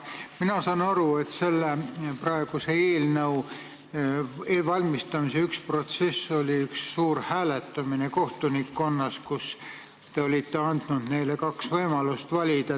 Mina saan aru, et selle eelnõu ettevalmistamise üks protsesse oli suur hääletamine kohtunikkonnas, kus te olite andnud kaks võimalust valida.